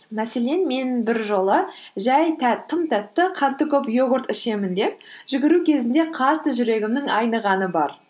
мәселен мен біржолы жай тым тәтті қанты көп йогурт ішемін деп жүгіру кезінде қатты жүрегімнің айнығаны бар